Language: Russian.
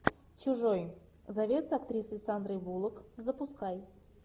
чужой завет с актрисой сандрой буллок запускай